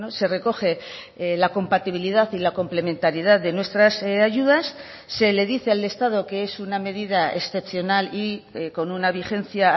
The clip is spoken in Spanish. se recoge la compatibilidad y la complementariedad de nuestras ayudas se le dice al estado que es una medida excepcional y con una vigencia